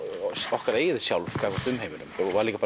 okkar eigið sjálf gagnvart umheiminum það var líka